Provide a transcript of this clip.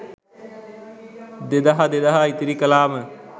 දෙදහ දෙදහ ඉතිරි කළාම,